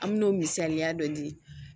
An me n'o misaliya dɔ di